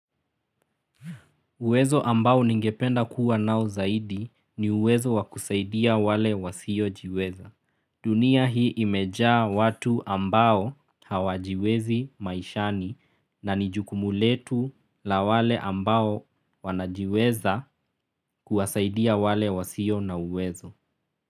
Uwezo ambao ningependa kuwa nao zaidi ni uwezo wakusaidia wale wasio jiweza. Dunia hii imejaa watu ambao hawajiwezi maishani na nijukumuletu la wale ambao wanajiweza kuwasaidia wale wasio na uwezo.